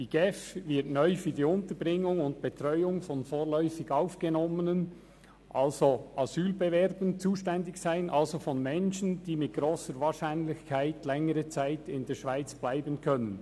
Die GEF wird neu für die Unterbringung und Betreuung von vorläufig aufgenommenen Asylbewerbern zuständig sein, also von Menschen, die mit grosser Wahrscheinlichkeit längere Zeit in der Schweiz bleiben können.